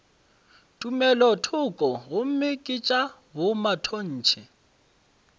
tumelothoko gomme ke tša bomatontshe